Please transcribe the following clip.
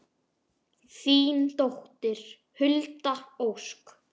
Þín dóttir, Hulda Ósk.